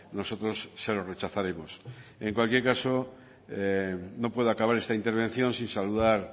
nosotros se lo rechazaremos en cualquier caso no puedo acabar esta intervención sin saludar